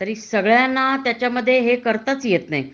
तरी सगळ्या त्याच्यामध्ये हे करताच येत नाही